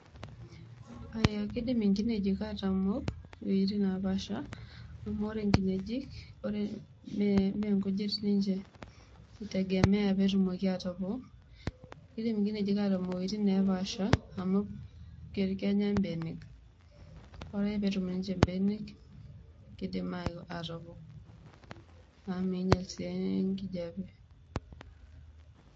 kindim nkineji atamoo wuejitin naapasha amu ore nkineji mme nkujit ninche itegemea petumoki aatopok .kidim nkineji atamok iwueti nepaasha amu ket enya mbenek. ore ake petum ninche mbenek kidim atopok ame mmeinyal sii enkijape